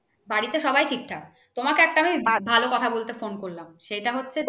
বাড়িতে সবাই ঠিকঠাক। তোমাকে আমি একটা আমি ভা কথা বলতে phone করলাম সেটা হচ্ছে যে